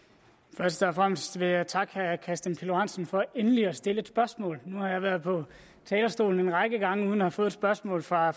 først og fremmest vil jeg takke herre kristian pihl lorentzen for endelig at stille et spørgsmål nu har jeg været på talerstolen en række gange uden at have fået et spørgsmål fra